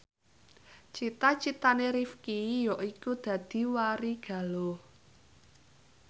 cita citane Rifqi yaiku dadi warigaluh